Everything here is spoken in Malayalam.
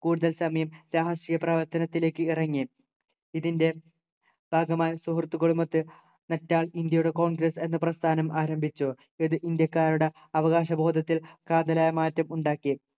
കൂടുതൽ സമയം രാഷ്ട്രീയ പ്രവർത്തനത്തിലേക്ക് ഇറങ്ങി ഇതിന്റെ ഭാഗമായി സുഹൃത്തുക്കളുമൊത്ത് നെറ്റാൽ ഇന്ത്യയുടെ congress എന്ന പ്രസ്ഥാനം ആരംഭിച്ചു ഇത് ഇന്ത്യക്കാരുടെ അവകാശ ബോധത്തിൽ കാതലായ മാറ്റം ഉണ്ടാക്കി